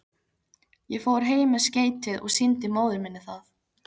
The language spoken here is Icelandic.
Ég fór heim með skeytið og sýndi móður minni það.